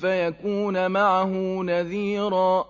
فَيَكُونَ مَعَهُ نَذِيرًا